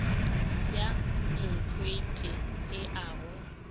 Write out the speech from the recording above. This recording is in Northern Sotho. ya nkgwete e a go